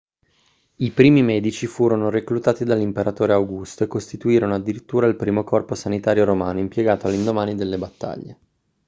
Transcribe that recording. i primi medici furono reclutati dall'imperatore augusto e costituirono addirittura il primo corpo sanitario romano impiegato all'indomani delle battaglie